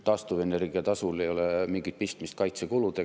Taastuvenergia tasul ei ole mingit pistmist kaitsekuludega.